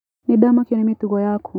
Nĩndamakio ni mĩtugo yaku.